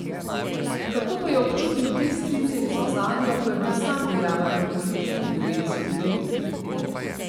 Kako pa je občutil te strice iz ozadja, ko je bil sam dejaven v politiki v devetdesetih letih?